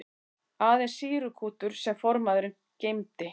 Aðeins sýrukútur sem formaðurinn geymdi.